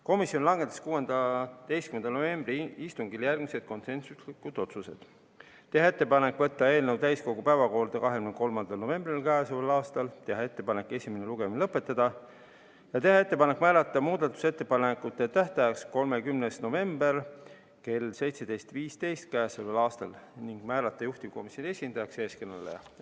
Komisjon langetas 16. novembri istungil järgmised konsensuslikud otsused: teha ettepanek võtta eelnõu täiskogu päevakorda k.a 23. novembril, teha ettepanek esimene lugemine lõpetada ja teha ettepanek määrata muudatusettepanekute tähtajaks k.a 30. november kell 17.15 ning määrata juhtivkomisjoni esindajaks eeskõneleja.